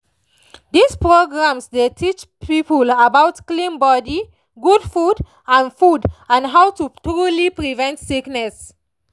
these programs dey teach people about clean body good food and food and how to truly prevent sickness.